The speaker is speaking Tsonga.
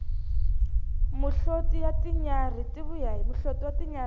muhloti wa tinyarhi ti vuya hi yena